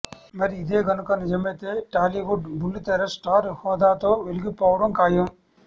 మరి ఇదే గనుక నిజమైతే టాలీవుడ్ బుల్లితెర స్టార్ హోదాతో వెలిగిపోవడం ఖాయం